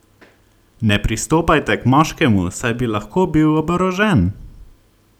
Ne pristopajte k moškemu, saj bi lahko bil oborožen!